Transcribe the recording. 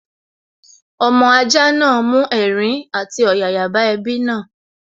Ọmọ ajá náà mú ẹ̀rín àti ọ̀yàyà bá ẹbí náà